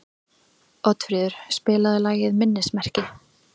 Oddfríður, spilaðu lagið „Minnismerki“.